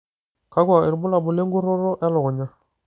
kakua irbulabol le nkuroto e lukunya?